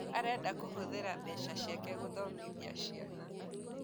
Arenda kũhũthĩra mbeca ciake gũthomĩthia ciana